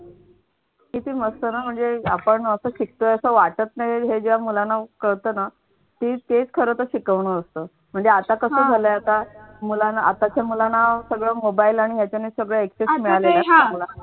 किती मस्त ना म्हणजे आपण असं शिकतोय असं वाटत नाही हे जेव्हा मुलांना कळत ना ती तेच खरं तर शिकवण असत म्हणजे आता कस झालंय आता आताच्या मुलांना सगळं mobile आणि ह्याच्याने सगळं एकटच मिळालेलं असत ना